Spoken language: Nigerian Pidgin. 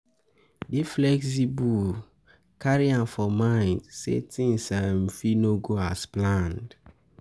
Dey flexible, carry am for mind sey things um fit no go as planned